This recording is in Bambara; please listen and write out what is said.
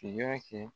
Ki y'a kɛ